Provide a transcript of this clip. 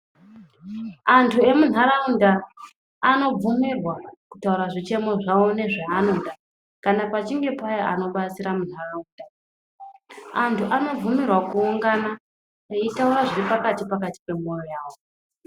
Andu emundaraunda anobvumirwa kutaura zvichemo zvavo ndezvavanoda kana pachinge pauya anobatsira mundaraunda andu anobvumirwa kuungana achitaura zviri pakati nepakati pemwoyo wavo .